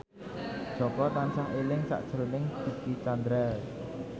Jaka tansah eling sakjroning Dicky Chandra